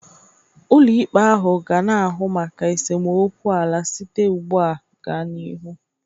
Ụlọikpe ahụ ga na-ahụ maka esemokwu ala site ugbu a gaa n'ihu